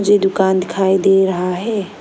ये दुकान दिखाई दे रहा है।